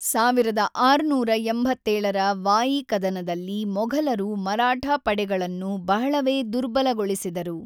೧೬೮೭ರ ವಾಯಿ ಕದನದಲ್ಲಿ ಮೊಘಲರು ಮರಾಠ ಪಡೆಗಳನ್ನು ಬಹಳವೇ ದುರ್ಬಲಗೊಳಿಸಿದರು.